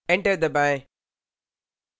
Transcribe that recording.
enter दबाएँ